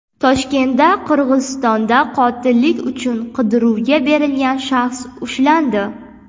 Toshkentda Qirg‘izistonda qotillik uchun qidiruvga berilgan shaxs ushlandi.